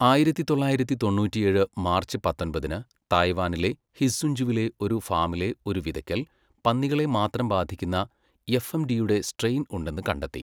ആയിരത്തി തൊള്ളായിരത്തി തൊണ്ണൂറ്റിയേഴ് മാർച്ച് പത്തൊമ്പതിന്, തായ്‌വാനിലെ ഹിസ്സുൻഞ്ചുവിലെ ഒരു ഫാമിലെ ഒരു വിതയ്ക്കൽ പന്നികളെ മാത്രം ബാധിക്കുന്ന എഫ്എംഡിയുടെ സ്ട്രെയിൻ ഉണ്ടെന്ന് കണ്ടെത്തി.